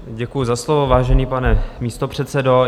Děkuji za slovo, vážený pane místopředsedo.